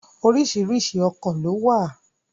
Oríṣiríṣi ọkọ̀ ló wà.